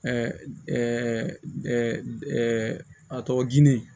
a tɔgɔ ginde